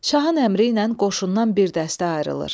Şahın əmri ilə qoşundan bir dəstə ayrılır.